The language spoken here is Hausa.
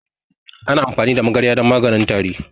Ana amfani da magarya don maganin tari.